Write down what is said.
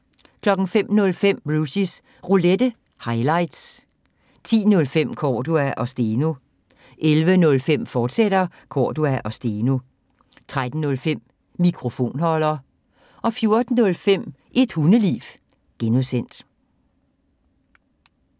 05:05: Rushys Roulette – highlights 10:05: Cordua & Steno 11:05: Cordua & Steno, fortsat 13:05: Mikrofonholder 14:05: Et Hundeliv (G)